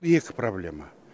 екі проблема